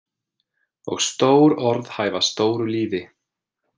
Og stór orð hæfa stóru lífi.